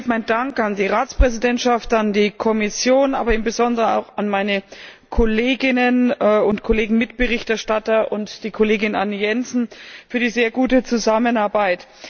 Zunächst einmal geht mein Dank an die Ratspräsidentschaft, an die Kommission, im Besonderen aber auch an meine Kolleginnen und Kollegen Mitberichterstatter und die Kollegin Anne Jensen für die sehr gute Zusammenarbeit.